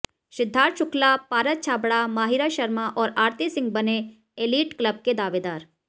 सिद्धार्थ शु्क्ला पारस छाबड़ा माहिरा शर्मा और आरती सिंह बने elite club के दावेदार